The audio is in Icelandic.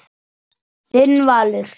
Þinn Valur.